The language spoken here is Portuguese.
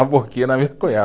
A boquinha na minha